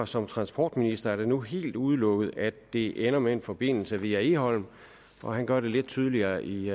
som transportminister er det nu helt udelukket at det ender med en forbindelse via egholm han gør det lidt tydeligere i